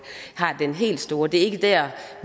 den helt store betydning det er ikke der